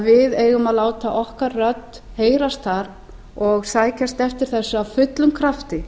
við eigum að láta okkar rödd heyrast þar og sækjast eftir þessu af fullum krafti